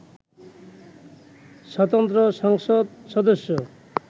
স্বতন্ত্র সংসদ সদস্য